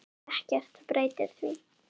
Ekkert breytir því.